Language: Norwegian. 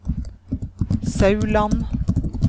Sauland